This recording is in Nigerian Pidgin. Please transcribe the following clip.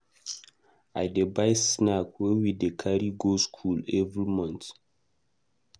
I dey buy snack wey we dey carry go skool every month.